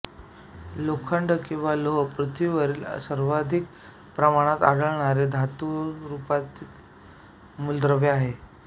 लोखंड किंवा लोह पृथ्वीवरील सर्वाधिक प्रमाणात आढळणारे धातुस्वरूपातले मूलद्रव्य आहे